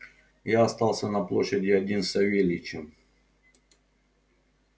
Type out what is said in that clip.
я остался на площади один с савельичем